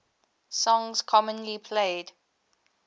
songs commonly played